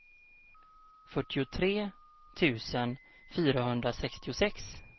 fyrtiotre tusen fyrahundrasextiosex